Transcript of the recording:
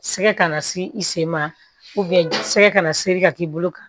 Sɛgɛ kana se i sen ma sɛgɛ kana seri ka k'i bolo kan